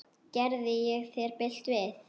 Gerði ég þér bylt við?